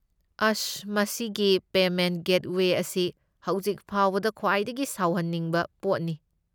ꯑꯁ, ꯃꯁꯤꯒꯤ payment gateway ꯑꯁꯤ ꯍꯧꯖꯤꯛ ꯐꯥꯎꯕꯗ ꯈ꯭ꯋꯥꯏꯗꯒꯤ ꯁꯥꯎꯍꯟꯅꯤꯡꯕ ꯄꯣꯠꯅꯤ꯫